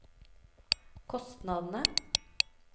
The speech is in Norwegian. kostnadene